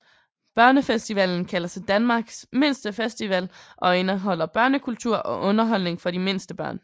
Børnefestivalen kalder sig Danmarks mindste festival og indeholder børnekultur og underholdning for de mindste børn